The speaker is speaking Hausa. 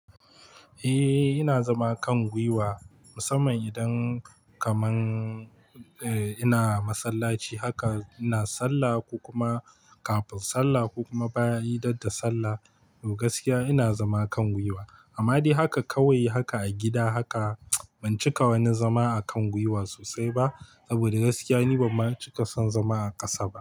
Eh, ina zama kan gwiwa musamman idan kaman eh ina masallaci haka ina sallah ko kuma kafin sallah ko kuma bayan idan da sallah to gaskiya ina zama kan gwiwa. Amma dai haka kawai haka a gida haka ban cika wani zama a kan gwiwa sosai ba saboda gaskiya ni ban ma cika son zama a ƙasa ba.